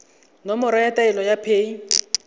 nomoro ya taelo ya paye